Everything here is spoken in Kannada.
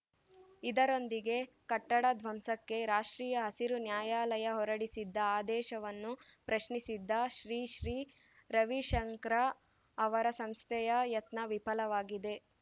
ಇದರೊಂದಿಗೆ ಕಟ್ಟಡ ಧ್ವಂಸಕ್ಕೆ ರಾಷ್ಟ್ರೀಯ ಹಸಿರು ನ್ಯಾಯಾಲಯ ಹೊರಡಿಸಿದ್ದ ಆದೇಶವನ್ನು ಪ್ರಶ್ನಿಸಿದ್ದ ಶ್ರೀ ಶ್ರೀ ರವಿಶಂಕರಾ ಅವರ ಸಂಸ್ಥೆಯ ಯತ್ನ ವಿಫಲವಾಗಿದೆ